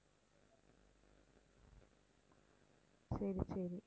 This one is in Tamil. சரி சரி